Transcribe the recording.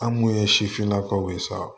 An mun ye sifinnakaw ye sa